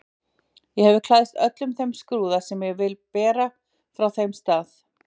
Ég hef klæðst öllum þeim skrúða sem ég vil bera frá þeim stað.